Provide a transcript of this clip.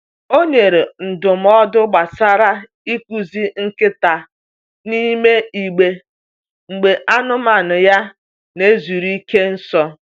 O nyere ndụmọdụ gbasara ịkụzi nkịta n’ime igbe mgbe anụmanụ ha n'zuru ike nso.